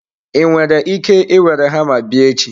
Ị nwere ike were hama bịa echi?